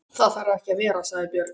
Það þarf ekki að vera, sagði Björg.